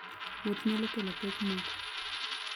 Wuoth nyalo kelo pek moko.